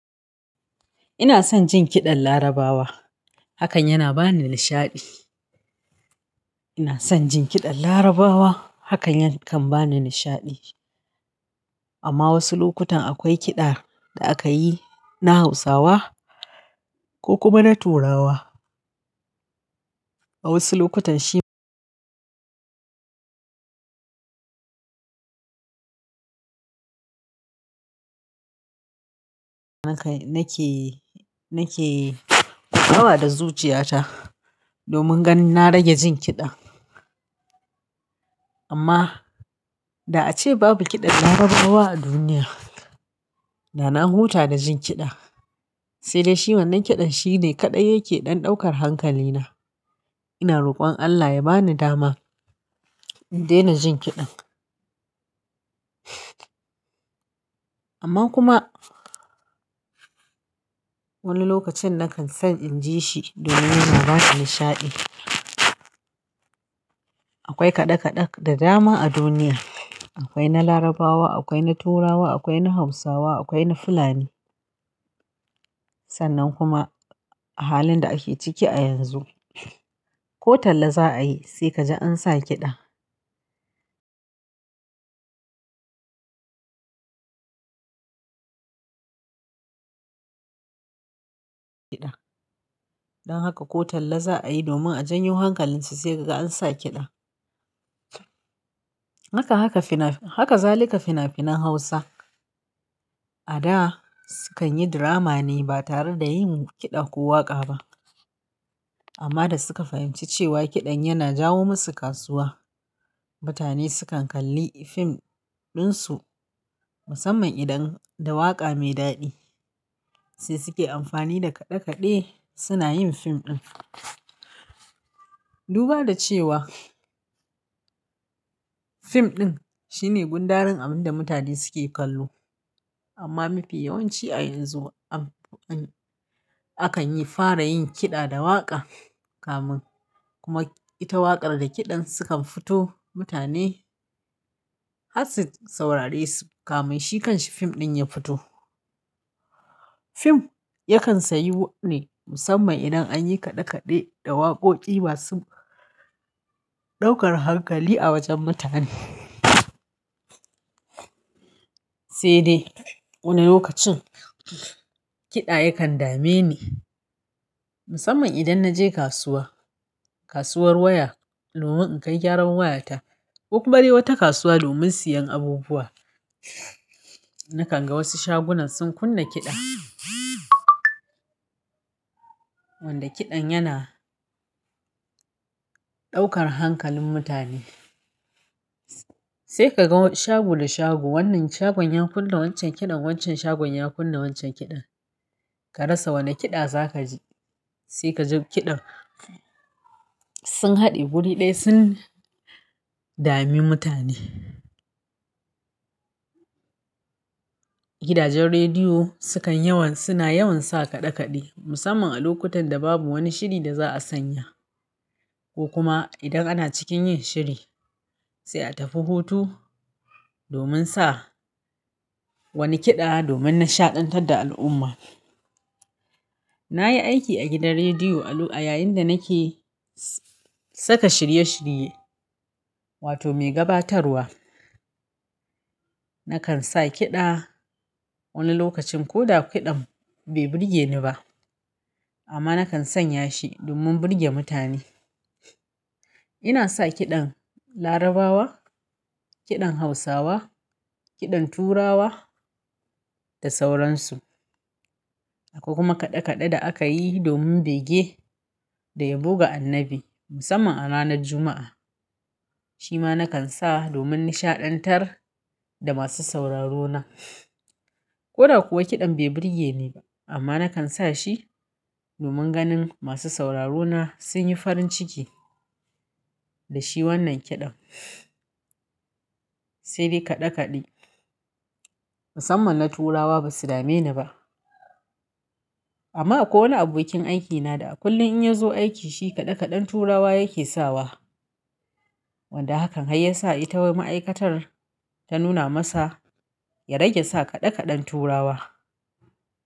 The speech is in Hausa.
Ina son jin kiɗan Larabawa, hakan yana ba ni nishaɗi. Ina son jin kiɗan Larabawa, hakan kan ba ni nishaɗi. Amma wasu lokutan akwai kiɗa da aka yi na Hausawa ko kuma na Turawa. A wasu lokutan shi nake, nake gama da zuciyata domin ganin na rage jin kiɗa. Amma da a ce babu kiɗan Larabawa a duniya, da na huta da jin kiɗa, sai dai shi wannan kiɗan shine kaɗai yake ɗan ɗaukar hankalina. Ina rokon Allah ya ba ni dama in daina jin kiɗan. Amma kuma wani lokacin nakan san in ji shi domin yana ba ni nishaɗi. Akwai kaɗe-kaɗe da dama a duniya. Akwai na Larabawa, akwai na Turawa, akwai na Hausawa, akwai na Fulani. Sannan kuma halin da ake ciki a yanzu, ko talla za a yi sai ka je an sa kiɗa. Kiɗa. Don haka ko talla za a yi domin a janyo hankalinsu sai ka ga an sa kiɗa. Haka, haka fina, haka zalika fina-finan Hausa. A da sukan yi drama ne ba tare da yin kiɗa ko waƙa ba. Amma da suka fahimci cewa kiɗan yana jawo masu kasuwa, mutane sukan kalli fim ɗin su, musamman idan da waƙa mai daɗi, sai suke amfani da kaɗe-kaɗe suna yin fim ɗin. Duba da cewa fim ɗin shine gundaren abin da mutane suke kallo. Amma mafi yawanci a yanzu an, an, akan yi fara yin kiɗa da waƙa. Kamin kuma ita waƙar da kiɗan sukan fito, mutane harsu saurare su, kamai shi kanshi fim ɗin ya fito. Fim yakan sayi wanne musamman idan an yi kaɗe-kaɗe da waƙoƙi masu ɗaukar hankali a wajen mutane. Sai dai wani lokacin kiɗa yakan dame ni, musamman idan na je kasuwa, kasuwar waya domin in kai gyaran wayata ko kuma bari wata kasuwa domin siyan abubuwa. Nakan ga wasu shagunan sun kunna kiɗa wanda kiɗan yana ɗaukar hankalin mutane. Sai ka ga shago da shago, wannan shagon ya kunna wancan kiɗan, wancan shagon ya kunna wancan kiɗan. Ka rasa wane kiɗa za ka ji. Sai ka ji kiɗan sun haɗe guri ɗaya sun dame mutane. Gidajen rediyo sukan yawan, suna yawan sa kaɗe-kaɗe musamman a lokutan da babu wani shiri da za a sanya ko kuma idan ana cikin yin shiri sai a tafi hutu domin sa wani kiɗa domin nishaɗantar da al'umma. Na yi aiki a gidan rediyo a Lu'a yayin da nake saka shirye-shirye, wato mai gabatarwa. Nakan sa kiɗa wani lokacin ko da kiɗan bai burge ni ba, amma nakan sanya shi domin burge mutane. Ina sa kiɗan Larabawa, kiɗan Hausawa, kiɗan Turawa da sauransu. Akwai kuma kaɗe-kaɗe da aka yi domin bege da ya buga annabi musamman a ranar Juma'a. Shi ma nakan sa domin nishaɗantar da masu sauraro na. Ko da kuwa kiɗan bai burge ni ba amma nakan sa shi domin ganin masu sauraro na sun yi farin ciki da shi wannan kiɗan. Sai dai kaɗe-kaɗe musamman na Turawa basu dame ni ba. Amma akwai wani abokin aikina da a kullum in ya zo aiki shi kaɗe-kaɗen Turawa yake sawa. Wanda hakan ya sa ita ma'aikatar ta nuna masa ya rage sa kaɗe-kaɗen Turawa.